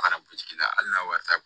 Fara butigi la hali n'a wari t'a